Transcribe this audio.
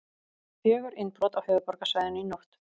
Fjögur innbrot á höfuðborgarsvæðinu í nótt